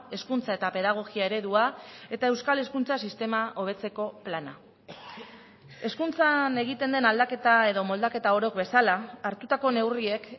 hezkuntza eta pedagogia eredua eta euskal hezkuntza sistema hobetzeko plana hezkuntzan egiten den aldaketa edo moldaketa orok bezala hartutako neurriek